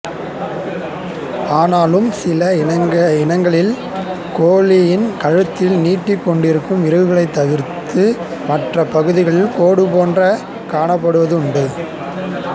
ஆனாலும் சில இனங்களில் சேவலின் கழுத்தில் நீட்டிக் கொண்டிருக்கும் இறகுகள் தவிர்த்து மற்றய பகுதிகள் பேடு போன்றே காணப்படுவதும் உண்டு